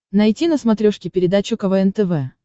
найти на смотрешке передачу квн тв